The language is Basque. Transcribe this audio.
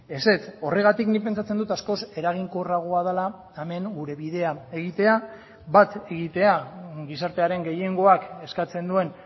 ezetz horregatik nik pentsatzen dut askoz eraginkorragoa dela hemen gure bidea egitea bat egitea gizartearen gehiengoak eskatzen duen